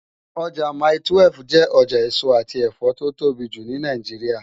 Ojá mái-túwèf jè òjá esó ati ẹfọ tó tóbi jú ni Náijiriá